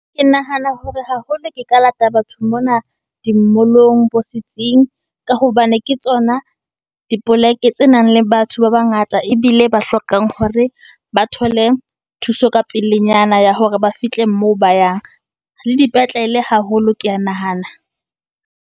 Ke nahana hore haholo ke ka lata batho mona di mall-ong, bo setsing, ka hobane ke tsona dipoleke tse nang le batho ba bangata. Ebile ba hlokang hore ba thole thuso ka pelenyana, ya hore ba fihle moo ba yang, le dipetlele haholo, ke ya nahana.